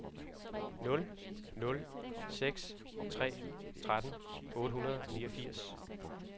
nul nul seks tre tretten otte hundrede og niogfirs